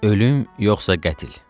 Ölüm, yoxsa qətl?